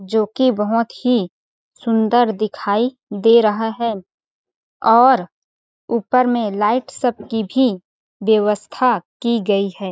जोकि बहोत ही सुंदर दिखाई दे रहा है और ऊपर में लाइट सब की भी बेवस्था कि गई है।